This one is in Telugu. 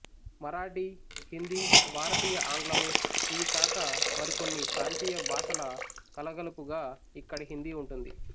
మరాఠీ హిందీ భారతీయ ఆంగ్లము ఇవి కాక మరికొన్ని ప్రాంతీయ భాషల కలగలుపుగా ఇక్కడి హిందీ ఉంటుంది